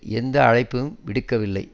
எந்த அழைப்பும் விடுக்கவில்லை